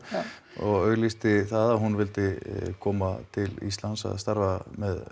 og auglýsti það að hún vildi koma til Íslands að starfa